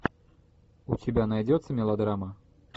у тебя найдется мелодрама